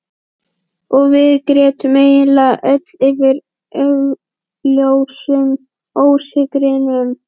Og við grétum eiginlega öll yfir augljósum ósigrinum.